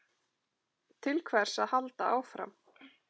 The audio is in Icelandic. Til hvers að halda áfram?